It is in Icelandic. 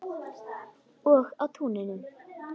Og á túninu.